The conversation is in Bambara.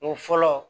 O fɔlɔ